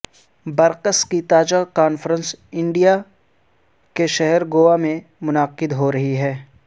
BRICS کی تازہ conference India کے شہر گوا میں منعقد ہو رہی ہے